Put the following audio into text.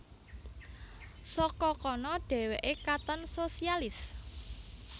Saka kana dhèwèké katon sosialis